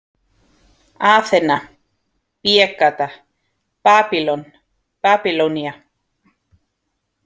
Aþena, B-gata, Babýlon, Babýlonía